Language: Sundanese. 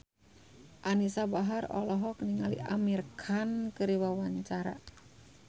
Anisa Bahar olohok ningali Amir Khan keur diwawancara